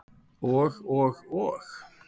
Og og og.